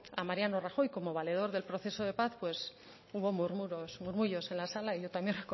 a mariano rajoy como valedor del proceso de paz pues hubo murmullos en la sala yo también